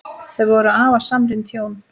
Þau voru afar samrýnd hjón.